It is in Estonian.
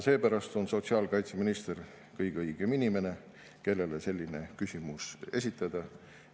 Seepärast on sotsiaalkaitseminister kõige õigem inimene, kellele selline küsimus esitada.